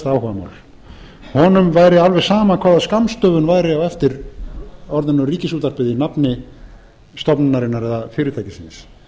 helsta áhugamál honum væri alveg sama hvaða skammstöfun væri á eftir orðinu ríkisútvarpið í nafni stofnunarinnar eða fyrirtækisins